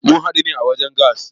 Mun hadu a wajen gas.